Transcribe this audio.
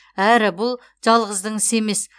әрі бұл жалғыздың ісі емес